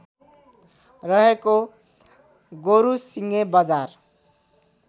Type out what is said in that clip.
रहेको गोरुसिङे बजार